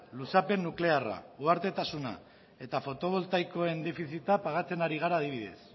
luzapen nuklearra eta fotovoltaikoen defizita pagatzen ari gara adibidez